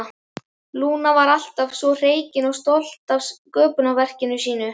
Lúna var alltaf svo hreykin og stolt af sköpunarverki sínu.